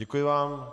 Děkuji vám.